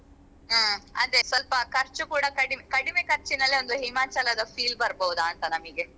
ಹ್ಮ್ ಅದೇ ಸ್ವಲ್ಪ ಖರ್ಚು ಕೂಡ ಕಡಿಮೆ ಕಡಿಮೆ ಖರ್ಚಿನಲ್ಲಿ ಒಂದು Himachal ದ feel ಬರ್ಬೋದಂತಾ ನಮಿಗೆ.